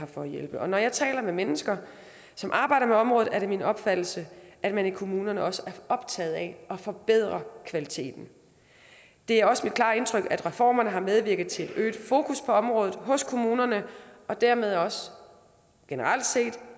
for at hjælpe og når jeg taler med mennesker som arbejder med området er det min opfattelse at man i kommunerne også er optaget af at forbedre kvaliteten det er også mit klare indtryk at reformerne har medvirket til et øget fokus på området hos kommunerne og dermed også generelt set